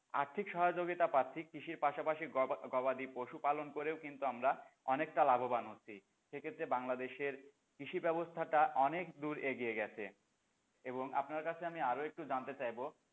আর্থিক সহয়যোগিতা পাচ্ছি কৃষির পাশাপাশি গবাদি গবাদি পশু পালন করেও কিন্তু আমরা অনেকটা লাভবান হচ্ছি সে ক্ষেত্রে বাংলাদেশের কৃষি ব্যবস্থাটা অনেক দূর এগিয়ে গেছে এবং আপনার কাছে আরো একটু জানতে চাইবো,